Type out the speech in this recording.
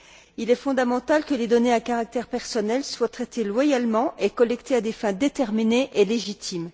Il est fondamental que les données à caractère personnel soient traitées loyalement et collectées à des fins déterminées et légitimes.